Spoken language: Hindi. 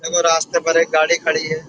देखो रास्ते पर एक गाड़ी खड़ी है।